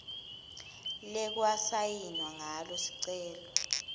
lekwasayinwa ngalo sicelo